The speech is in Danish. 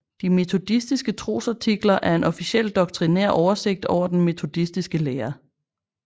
De Metodistiske Trosartikler er en officiel doktrinær oversigt over den metodiske lære